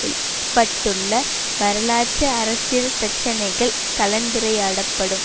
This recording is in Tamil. எழுப்பபட்டுள்ள வரலாற்று அரசியல் பிரச்சினைகள் கலந்துரையாடப்படும்